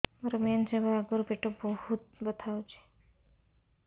ମୋର ମେନ୍ସେସ ହବା ଆଗରୁ ପେଟ ବହୁତ ବଥା ହଉଚି